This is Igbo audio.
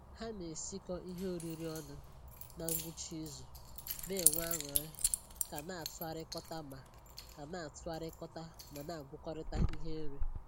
Ha ne-esikọ ihe oriri ọnụ na ngwụcha izu, na-enwe aṅụrị ka na-atụkọrịta ma ka na-atụkọrịta ma na-agwakọrịta ihe nri